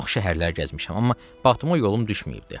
Çox şəhərlər gəzmişəm, amma Batuma yolum düşməyibdi.